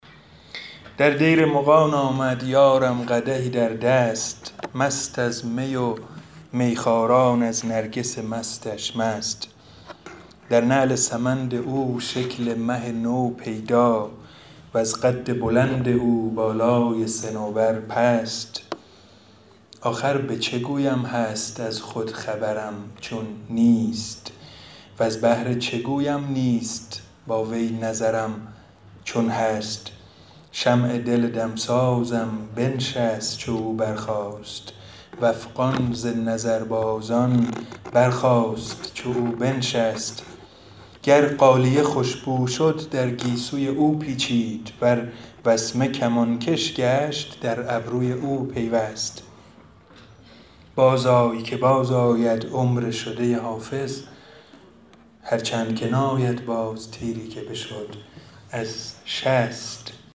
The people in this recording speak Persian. در دیر مغان آمد یارم قدحی در دست مست از می و میخواران از نرگس مستش مست در نعل سمند او شکل مه نو پیدا وز قد بلند او بالای صنوبر پست آخر به چه گویم هست از خود خبرم چون نیست وز بهر چه گویم نیست با وی نظرم چون هست شمع دل دمسازم بنشست چو او برخاست و افغان ز نظربازان برخاست چو او بنشست گر غالیه خوش بو شد در گیسوی او پیچید ور وسمه کمانکش گشت در ابروی او پیوست بازآی که بازآید عمر شده حافظ هرچند که ناید باز تیری که بشد از شست